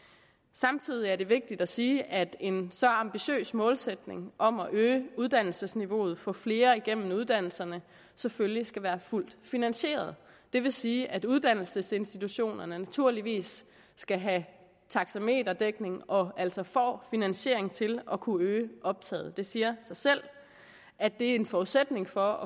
samtidig er det vigtigt at sige at en så ambitiøs målsætning om at øge uddannelsesniveauet og få flere igennem uddannelserne selvfølgelig skal være fuldt finansieret det vil sige at uddannelsesinstitutionerne naturligvis skal have taxameterdækning og altså får finansiering til at kunne øge optaget det siger sig selv at det er en forudsætning for